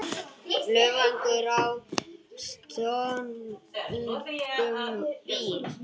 Ölvaður á stolnum bíl